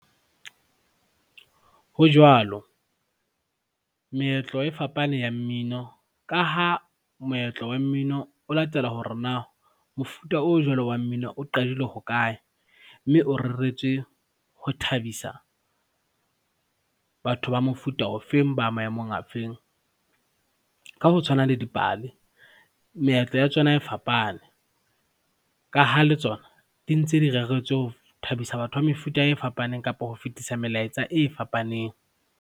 Ho jwalo, meetlo e fapane ya mmino ka ha moetlo wa mmino o latela hore na mofuta o jwalo wa mmino o qadile hokae, mme o reretswe ho thabisa, batho ba mofuta ofeng, ba maemong a feng. Ka ho tshwana le dipale, meetlo ya tsona e fapane, ka ha le tsona dintse di reretswe ho thabisa batho ba mefuta e fapaneng kapa ho fetisa melaetsa e fapaneng.